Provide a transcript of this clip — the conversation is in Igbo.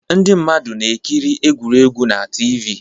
Ndị mmadụ na-ekiri egwuregwu na TV